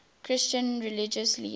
christian religious leaders